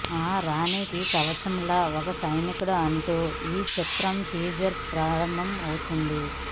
ఆ రాణికి కవచంలా ఓ సైనికుడు అంటూ ఈ చిత్ర టీజర్ ప్రారంభం అవుతుంది